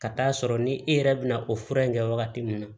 Ka t'a sɔrɔ ni e yɛrɛ bɛ na o fura in kɛ wagati min na